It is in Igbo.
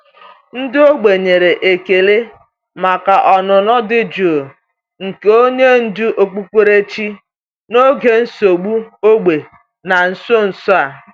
Ndị ógbè nwere ekele maka ọnụnọ dị jụụ nke onye ndú okpukperechi n’oge esemokwu ógbè na nso nso a.